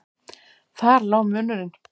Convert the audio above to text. Þar lá munurinn.